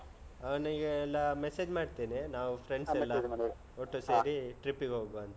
ಅವ್ನಿಗೆಲ್ಲಾ message ಮಾಡ್ತೇನೆ. ನಾವ್ friends ಎಲ್ಲಾ ಒಟ್ಟು ಸೇರಿ, trip ಗೆ ಹೋಗುವಾ ಅಂತ.